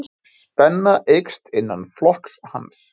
Spenna eykst innan flokks hans.